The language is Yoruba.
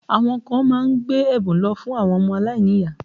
Àwọn kan má ń gbé ẹ̀bùn lọ fún àwọn ọmọ alainiyaa